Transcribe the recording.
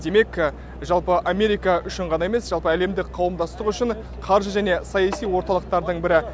демек жалпы америка үшін ғана емес жалпы әлемдік қауымдастық үшін қаржы және саяси орталықтардың бірі